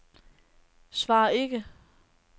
svar ikke